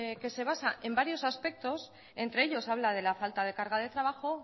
que se basa en varios aspectos entre ellos habla de la falta de carga de trabajo